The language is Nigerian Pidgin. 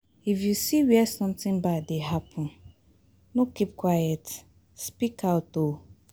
If you see where something bad dey happen, no keep quiet speak out oo